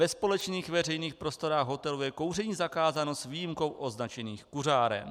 Ve společných veřejných prostorách hotelu je kouření zakázáno s výjimkou označených kuřáren.